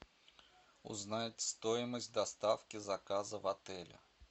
узнать стоимость доставки заказа в отеле